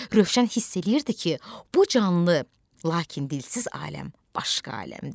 Rövşən hiss eləyirdi ki, bu canlı, lakin dilsiz aləm başqa aləmdir.